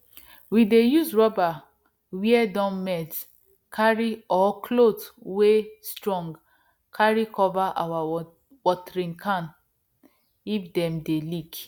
we dey use rubber where don melt carry or cloth wey strong carry cover our watering can if them dey leak